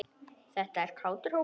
Þetta er kátur hópur.